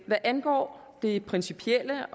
hvad angår det principielle